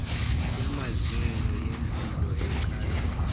yamazinyo yempilo echazwa